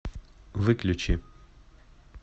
выключи